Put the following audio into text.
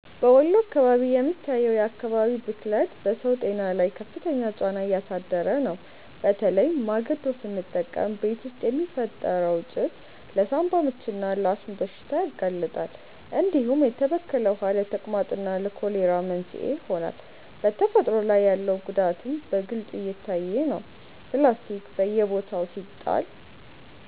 በወሎ አካባቢ የሚታየው የአካባቢ ብክለት በሰው ጤና ላይ ከፍተኛ ጫና እያሳደረ ነው፤ በተለይ ማገዶ ስንጠቀም ቤት ውስጥ የሚፈጠረው ጭስ ለሳንባ ምችና ለአስም በሽታ ያጋልጣል፣ እንዲሁም የተበከለ ውሃ ለተቅማጥና ለኮሌራ መንስኤ ይሆናል። በተፈጥሮ ላይ ያለው ጉዳትም በግልጽ እየታየ ነው፤ ፕላስቲክ በየቦታው ሲጣል